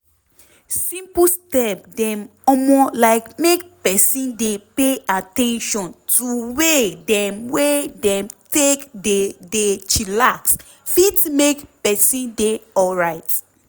simple step dem omo like make peson dey pay at ten tion to way dem wey dem take dey dey chillax fit make peson dey alrite.